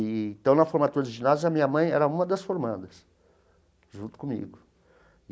E então, na formatura do ginásio, a minha mãe era uma das formandas, junto comigo.